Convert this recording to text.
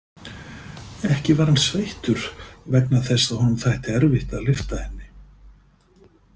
Ekki var hann sveittur vegna þess að honum þætti erfitt að lyfta henni.